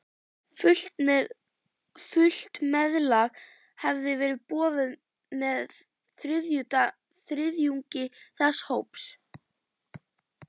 Fullt meðlag hafði verið boðið með þriðjungi þess hóps.